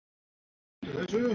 En malt og appelsín?